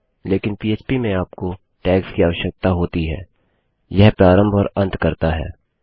लेकिन पह्प में आपको टैग्स की आवश्यकता होती है यह प्रारंभ और अंत करता है